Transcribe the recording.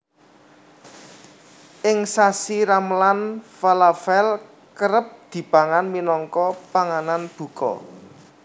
Ing sasi Ramelan falafèl kerep dipangan minangka panganan buka